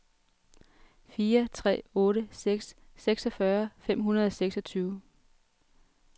fire tre otte seks seksogfyrre fem hundrede og seksogtyve